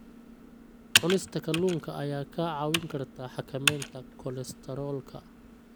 Cunista kalluunka ayaa kaa caawin karta xakamaynta kolestaroolka.